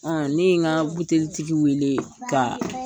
ne ye n ka buteli tigi wele ka